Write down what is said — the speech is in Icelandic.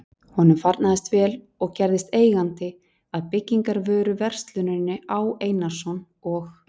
Honum farnaðist vel og gerðist eigandi að byggingarvöruversluninni Á. Einarsson og